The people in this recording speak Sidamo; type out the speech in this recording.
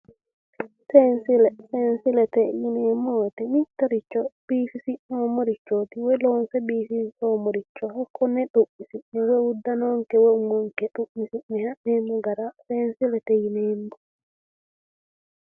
Seensille seensillete yineemmo woyiite mittoricho biifisi'noommorichooti woyi loonse biifinsoommoricho kuni xu'misi'ne uddanonkee woye umonke xu'misi'ne ha'neemmo gara seessillete yineemmo